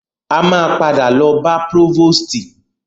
A máa padà lọ bá prọ́vòstì.